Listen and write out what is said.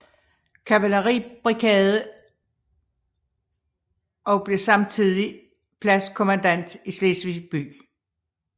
Kavaleribrigade og blev samtidig pladskommandant i Slesvig by